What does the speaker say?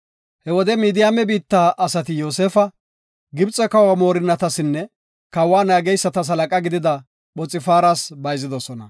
He wode Midiyaame biitta asati Yoosefa, Gibxe kawa moorinnatanne kawa naageysata halaqa gidida Phoxfaaras bayzidosona.